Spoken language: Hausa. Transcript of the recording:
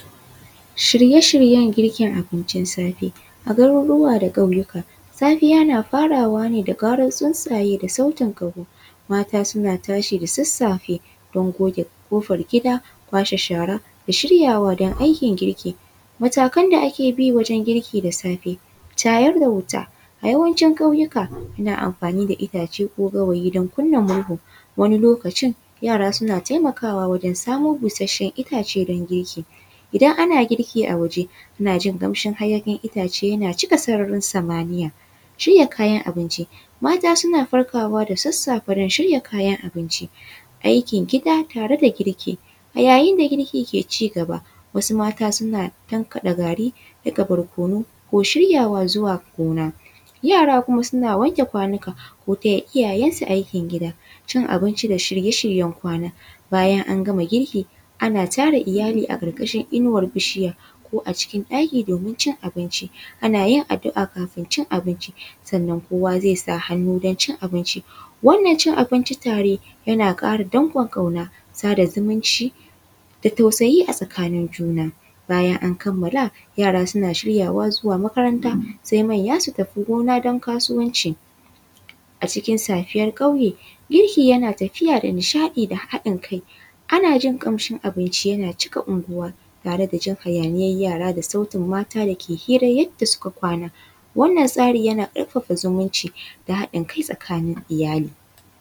Shirye-shiryan girkin abincin safe, a burnika da ƙauyuka safiya yana farawa ne da karan sunsaye ne da sautin kawo, mata suna tashi da sassafe don goge kofar gida kwashe shara da shirya don aikin girki matakan da ake bi wajen girki da safe tayar da wuta a yawancin ƙauyuka ana amfani da itace ko gawayi don kunna murhu wani lokaci yara suna taimakawa wajen samun bushashan itace don girki, idan ana girki a waje ana jin kamshin hayakin itace yana cika sararin samaniya, shirya kayan abinci suna farkawa da sassafe don shirya kayan abinci aikin gida tare da girki a yayin da girki ke cigaba wasu mata suna tankaɗe gari, nika barkonu ko shiryawa zuwa gona yara kuma suna wanke kwanuka ko taya iyayensu aikin gida, cin abinci da shirye-shiryen kwana bayan an gama girki ana tara iyali a karkashin inuwar bishiya cikin ɗaki domin cin abinci, ana yin addu’a kafin cin abinci sannan kowa zai sa hannu don cin abinci, wannan cin abinci tare yana kara ɗankon kauna sada zumunci da tausayi a tsakanin juna bayan an kamala yara suna shiryawa zuwa makaranta sai manya su tafi gona don kasuwanci a cikin safiyar kauye girki yana tafiya da nishaɗi da haɗin kai, ana jin kamshin abinci yana cika unguwa tare da jin hayaniyar yara da sautin mata dake hira yadda suka kwana, wannan tsari yana karfafa zumunci da haɗin kai tsakanin iyali.